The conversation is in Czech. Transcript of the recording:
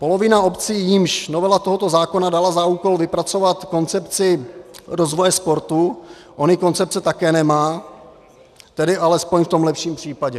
Polovina obcí, jimž novela tohoto zákona dala za úkol vypracovat koncepci rozvoje sportu, ony koncepce také nemá, tedy alespoň v tom lepším případě...